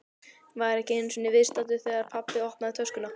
Væri ekki einu sinni viðstaddur þegar pabbi opnaði töskuna.